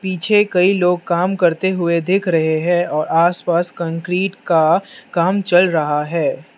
पीछे कई लोग काम करते हुए देख रहे हैं और आस पास कंक्रीट का काम चल रहा है।